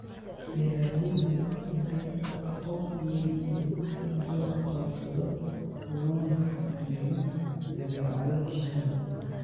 Beeralayda waa in ay aqoon u leeyihiin sida loo aqoonsado loona xakameeyo dabeecadaha shinnida.